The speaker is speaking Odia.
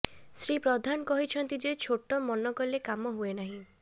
ଶ୍ରୀ ପ୍ରଧାନ କହିଛନ୍ତି ଯେ ଛୋଟ ମନ କଲେ କାମ ହୁଏନାହିଁ